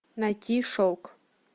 найти шелк